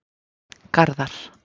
Garðar